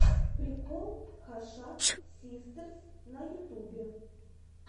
прикол хашак систерс на ютубе